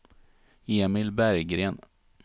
Emil Berggren